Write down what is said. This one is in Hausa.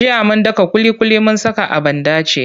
Jiya mun daka ƙuliƙuli mun saka a banɗace.